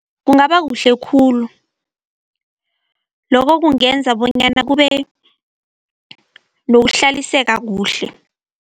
Kungaba kuhle khulu. Lokho kungenza bonyana kube nokuhlaliseka kuhle.